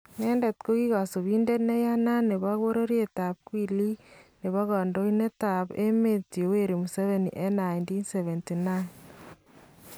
Nendet kokikasubindet neiyanat nebo bororyet ab kwiliik nebo kandoindetab emeet Yoweri Museveni en 1979